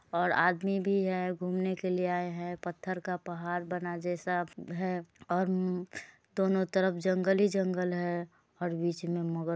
ओर आदमी भी है घूमने के लिए आए है पत्थर का पहाड़ बना जैसा है और दोनों तरफ जंगल ही जंगल है और बीच मे मगर--